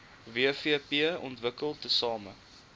wvp ontwikkel tesame